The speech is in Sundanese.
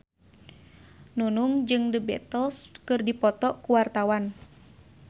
Nunung jeung The Beatles keur dipoto ku wartawan